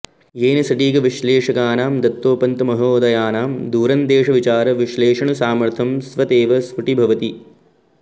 येन सटीक विश्लेषकानां दत्तोपन्तमहोदयानां दूरंदेशविचार विश्लेषणसामर्थ्यं स्वतेव स्फुटिभवति